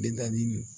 Min naani